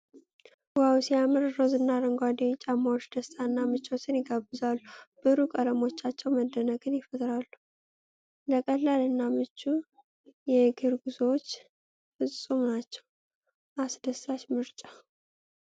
ዋው ሲያምሩ! ሮዝ እና አረንጓዴ ጫማዎች ደስታን እና ምቾትን ይጋብዛሉ። ብሩህ ቀለሞቻቸው መደነቅን ይፈጥራሉ። ለቀላል እና ምቹ የእግር ጉዞዎች ፍፁም ናቸው። አስደሳች ምርጫ!